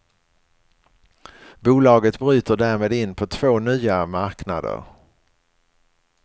Bolaget bryter därmed in på två nya marknader.